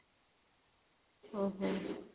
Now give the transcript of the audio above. ଓଃ ହୋ